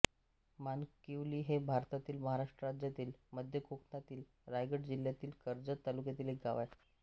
मानकिवली हे भारतातील महाराष्ट्र राज्यातील मध्य कोकणातील रायगड जिल्ह्यातील कर्जत तालुक्यातील एक गाव आहे